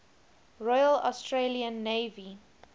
royal australian navy